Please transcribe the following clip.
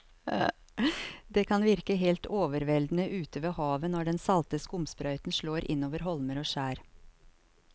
Det kan virke helt overveldende ute ved havet når den salte skumsprøyten slår innover holmer og skjær.